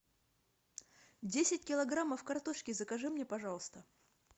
десять килограммов картошки закажи мне пожалуйста